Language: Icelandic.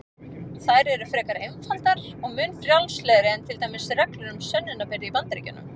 Þær eru frekar einfaldar og mun frjálslegri en til dæmis reglur um sönnunarbyrði í Bandaríkjunum.